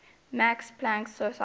max planck society